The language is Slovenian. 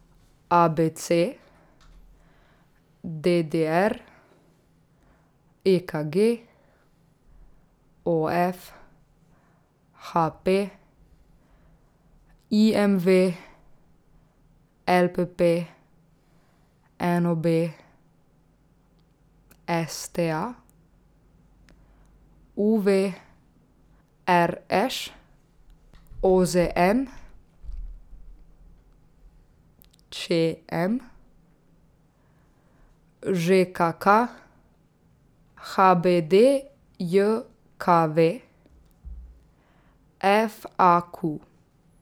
A B C; D D R; E K G; O F; H P; I M V; L P P; N O B; S T A; U V; R Š; O Z N; Č M; Ž K K; H B D J K V; F A Q.